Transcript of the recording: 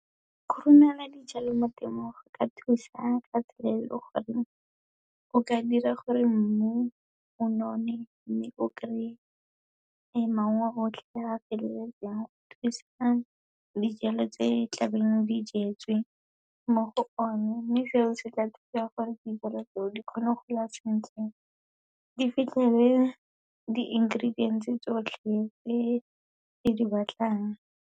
Go romela dijalo mo temong, go ka thusa ka tsela e leng gore o ka dira gore mmu o none, mme o kry-e maungo otlhe, a feleletseng, go thusa dijalo tse tlabeng di jetswe mo go o ne. Mme seo, se tla thusa gore di kgone go gola sentle, di fitlhele di-ingredients-e tsotlhe e e di batlang.